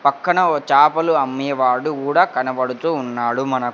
పక్కన ఓ చాపలు అమ్మేవాడు గూడా కనబడుతూ ఉన్నాడు మనకు--